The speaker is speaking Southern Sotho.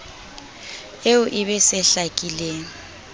eo e be se hlakileng